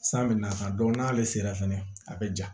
San bɛ na ka n'ale sera fana a bɛ ja